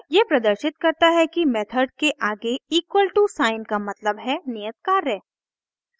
यह प्रदर्शित करता है कि मेथड के आगे equal टू साइन का मतलब है नियत कार्य